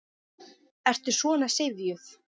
Ertu svona syfjuð?